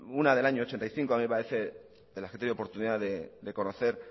una del año mil novecientos ochenta y cinco a mí me parece de las que he tenido oportunidad de conocer